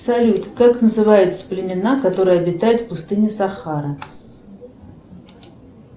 салют как называются племена которые обитают в пустыне сахара